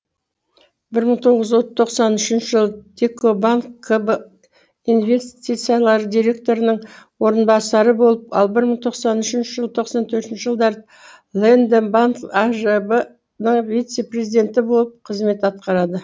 бір мың тоғыз тоқсан үшінші жылы текобанк кб инвестициялар директорының орынбасары болып ал бір мың тоқсан үшінші тоқсан төртінші жылдары лэндбанк ажб нің вице президенті болып қызмет атқарады